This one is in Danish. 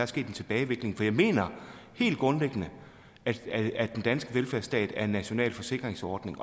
sket en tilbagegang for jeg mener helt grundlæggende at den danske velfærdsstat er en national forsikringsordning